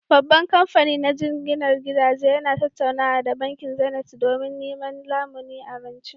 Babban kamfani na jinginar gidaje yana tattaunawa da Bankin Zenith don neman lamuni a rance